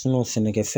sɛnɛkɛ fɛn